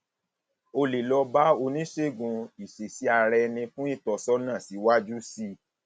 o lè lọ bá oníṣègùn ìṣesíaraẹni fún ìtọsọnà síwájú sí i síwájú sí i